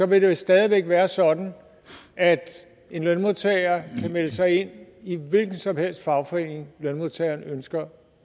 vil det stadig væk være sådan at en lønmodtager kan melde sig ind i en hvilken som helst fagforening lønmodtageren ønsker